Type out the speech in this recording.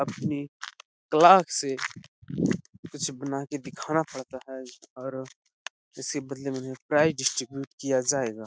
अपने क्लास से कुछ बन के बना के दिखाना पड़ता है और इससे बढ़िया बढ़िया प्राइस डिस्ट्रीब्यूट किया जाएगा--